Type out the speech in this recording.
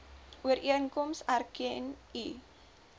ooreenkoms erken u